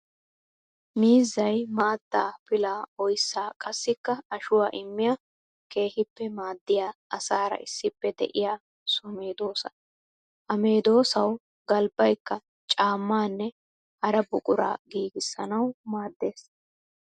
Miizzay maata, pilla, oyssa qassikka ashuwa immiya keehippe maadiya asaara issippe de'iya so medosaa. Ha medosawu galbbayikka caamanne hara buqura giigisanawu maades.